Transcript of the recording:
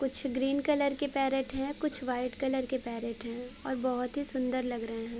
कुछ green colour के parrot है। कुछ व्हाइट कलर के पैरेट है और बोहत ही सुन्दर लग रहे हैं।